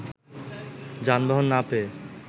যানবাহন না পেয়ে